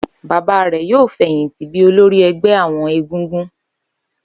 Baba re yoo ifẹhinti bi olori egbe awọn egungun.